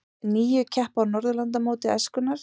Níu keppa á Norðurlandamóti æskunnar